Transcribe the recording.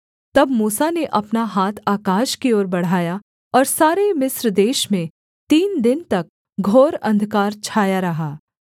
तब मूसा ने अपना हाथ आकाश की ओर बढ़ाया और सारे मिस्र देश में तीन दिन तक घोर अंधकार छाया रहा